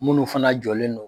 Munnu fana jɔlen don